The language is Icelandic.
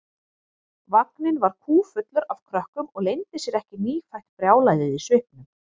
Vagninn var kúffullur af krökkum og leyndi sér ekki nýfætt brjálæðið í svipnum.